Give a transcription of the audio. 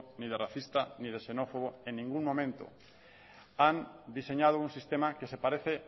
ni de racista ni de xenófobo en ningún momento han diseñado un sistema que se parece